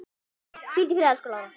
Hvíldu í friði, elsku Lára.